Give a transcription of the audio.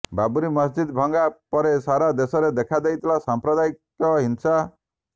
ବାବରି ମସଜିଦ ଭଙ୍ଗା ପରେ ସାରା ଦେଶରେ ଦେଖାଦେଇଥିଲା ସାଂପ୍ରଦାୟିକ ହିଂସା